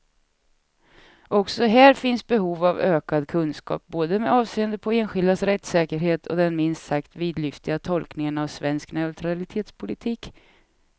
Också här finns behov av ökad kunskap, både med avseende på enskildas rättssäkerhet och den minst sagt vidlyftiga tolkningen av svensk neutralitetspolitik.